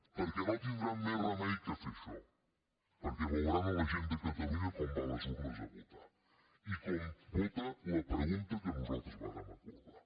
perquè no tindran més remei que fer això perquè veuran la gent de catalunya com va a les urnes a votar i com vota la pregunta que nosaltres vàrem acordar